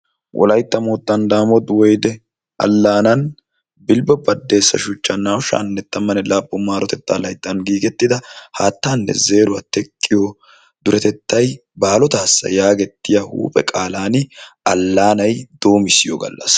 wolaytta moottan daamot woyide allaanan bilbbo baddeesa shuchchan naa'u sha'anne tammanne laappun maarotetta layttan giigettida haattanne zeeruwaa teqqiyoo duretettay baalotaassa yaagiyaa huuphe qaalaani allaanay doomissiyoo gallassa.